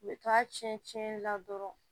U bɛ to a tiɲɛ tiɲɛli la dɔrɔn